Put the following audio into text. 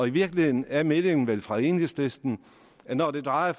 i virkeligheden er meldingen vel fra enhedslisten at når det drejer